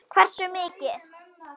Hversu mikið?